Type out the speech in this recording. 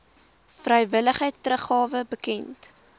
vrywillige teruggawe bekend